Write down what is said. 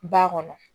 Ba kɔnɔ